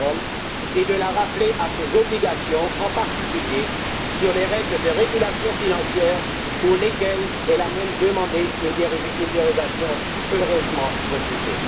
Cameron et de la rappeler à ses obligations, en particulier sur les règles de régulation financière pour lesquelles elle a même demandé une dérogation, heureusement refusée.